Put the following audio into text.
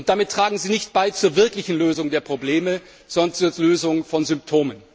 Damit tragen Sie nicht zur wirklichen Lösung der Probleme bei, sondern zur Lösung von Symptomen.